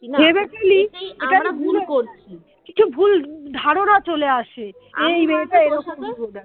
কিছু ভুল ধারণা চলে আসে যে এই মেয়েটা এইরকমই বোধ হয়